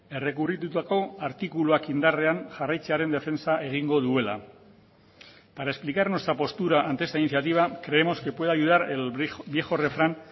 errekurritutako artikuluak indarrean jarraitzearen defentsa egingo duela para explicar nuestra postura ante esta iniciativa creemos que puede ayudar el viejo refrán